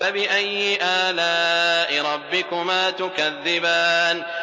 فَبِأَيِّ آلَاءِ رَبِّكُمَا تُكَذِّبَانِ